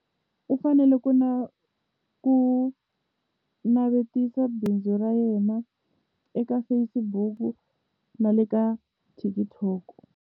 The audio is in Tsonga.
U fanele ku na ku navetisa bindzu ra yena eka Facebook na le ka TikTok.